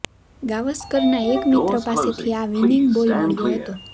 ગાવસ્કરના એક મિત્ર પાસેથી આ વિનિંગ બોલ મળ્યો હતો